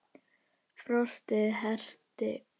Frostið herti.